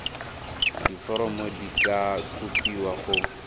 diforomo di ka kopiwa go